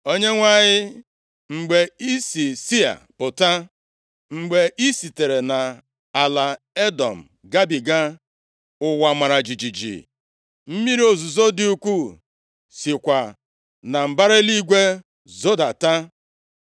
“ Onyenwe anyị, mgbe i si Sia pụta, mgbe i sitere nʼala Edọm gabiga, + 5:4 Duuru anyị gabiga ọzara Edọm ụwa mara jijiji, mmiri ozuzo dị ukwuu sikwa na mbara eluigwe zodata.